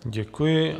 Děkuji.